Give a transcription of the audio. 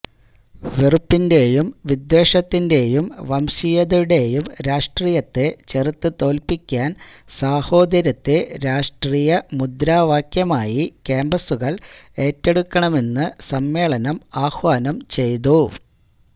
വെറുപ്പിന്റെയും വിദ്വേഷത്തിന്റെയും വംശീയതയുടെയും രാഷ്ട്രീയത്തെ ചെറുത്തുതോല്പ്പിക്കാന് സാഹോദര്യത്തെ രാഷ്ട്രീയ മുദ്രാവാക്യമായി കാംപസുകള് ഏറ്റെടുക്കണമെന്ന് സമ്മേളനം ആഹ്വാനം ചെയ്തു